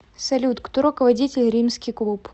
салют кто руководитель римский клуб